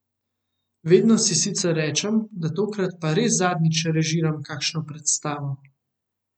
Vedno si sicer rečem, da tokrat pa res zadnjič režiram kakšno predstavo.